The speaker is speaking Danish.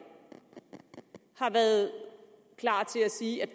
har været klar til at sige at